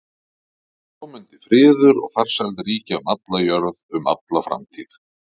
Og svo mundi friður og farsæld ríkja um alla jörð um alla framtíð.